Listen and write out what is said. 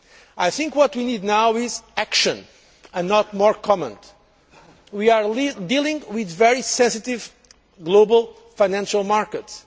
I think what we need now is action and not more comments. We are dealing with very sensitive global financial markets.